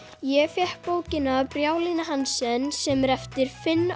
ég fékk bókina Hansen sem er eftir Finn